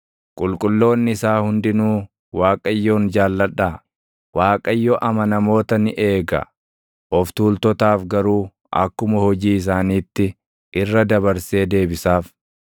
Qulqulloonni isaa hundinuu, Waaqayyoon jaalladhaa! Waaqayyo amanamoota ni eega; of tuultotaaf garuu akkuma hojii isaaniitti irra dabarsee deebisaaf.